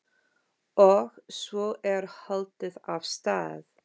Og svo er haldið af stað.